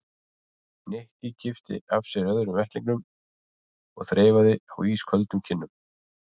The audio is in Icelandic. Nikki kippti af sér öðrum vettlingnum og þreifaði á ísköldum kinnum